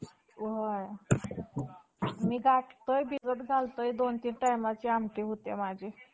रोहित शर्मा हा player मला खूपच आवडतो त्याने खूपच स्वतः शतक पण मारलेले आहे आणि त्याचा world record आहे two hundred sixty four जो अजून पर्यंत